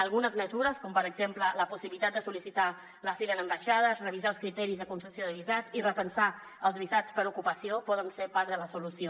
algunes mesures com per exemple la possibilitat de sol·licitar l’asil en ambaixades revisar els criteris de concessió de visats i repensar els visats per ocupació poden ser part de la solució